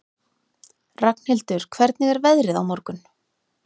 Ragnhildur, hvernig er veðrið á morgun?